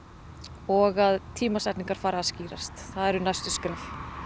og að tímasetningar fari að skýrast það eru næstu skref